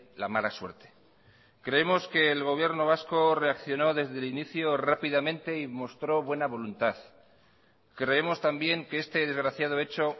la mala suerte creemos que el gobierno vasco reaccionó desde el inicio rápidamente y mostró buena voluntad creemos también que este desgraciado hecho